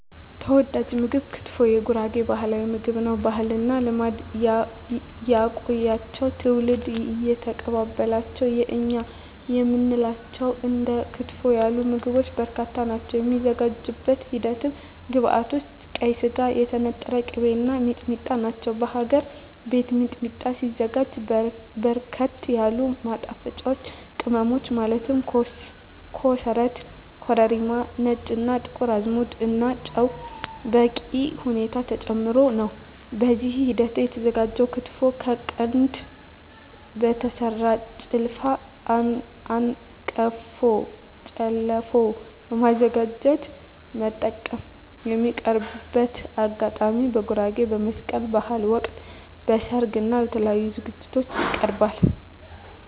ተወዳጅ ምግብ ክትፎ የጉራጌ ባህላዊ ምግብ ነው። ባህልና ልማድ ያቆያቸው ትውልድ እየተቀባበላቸው የእኛ የምንላቸው እንደ ክትፎ ያሉ ምግቦች በርካታ ናቸው። የሚዘጋጅበት ሂደት ግብዐቶች ቀይ ስጋ, የተነጠረ ቅቤ , እና ሚጥሚጣ ናቸው። በሀገር ቤት ሚጥሚጣ ሲዘጋጅ በርከት ያሉ ማጣፈጫወች ቅመሞች ማለት ኮሰረት , ኮረሪማ , ነጭ እና ጥቁር አዝሙድ እና ጨው በበቂ ሁኔታ ተጨምሮበት ነው። በዚህ ሂደት የተዘጋጀው ክትፎ ከቀንድ በተሰራው ጭልፋ/አንቀፎ ጨለፎ በማዘጋጀት መጠቀም። የሚቀርብበት አጋጣሚ በጉራጌ በመስቀል በሀል ወቅት, በሰርግ እና በተለያዪ ዝግጅቶች ይቀርባል።።